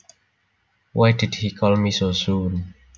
Why did he call me so soon